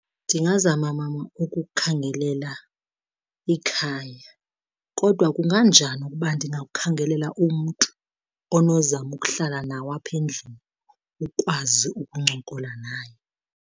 Ndingazama mama ukukhangelela ikhaya. Kodwa kunganjani ukuba ndingakukhangelela umntu onozama ukuhlala nawe apha endlini ukwazi ukuncokola naye?